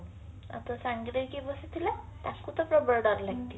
ଆଉ ତୋ ସାଙ୍ଗରେ କିଏ ବସିଥିଲା ତାକୁ ତ ପ୍ରବଳ ଡର ଲାଗିଥିବ